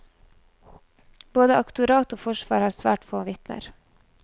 Både aktorat og forsvar har svært få vitner.